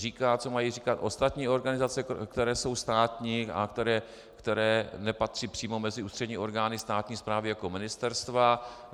Říká, co mají dělat ostatní organizace, které jsou státní a které nepatří přímo mezi ústřední orgány státní správy jako ministerstva.